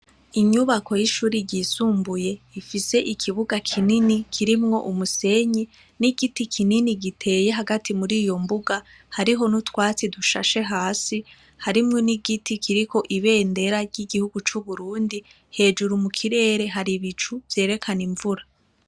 Inyubako y'ishure ryisumbuye rifise ikibuga kinini kirimwo umusenyi n'igiti kinini giteye hagati muri yo mbuga. Hariho n'utwatsi dushashe hasi. Harimwo n'igiti kiriko ibendera ry'igihugu c'Uburundi. Hejuru mu kirere hari ibicu vyerekana imvura.